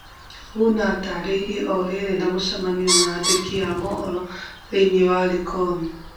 Oguna atarĩrie orĩrĩ na mũcemanio na andĩki ma mohoro thĩinĩ wa Likoni